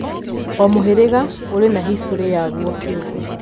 O mũhĩrĩga ũrĩ na history yaguo kĩũmbe.